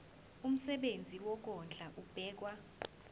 umsebenzi wokondla ubekwa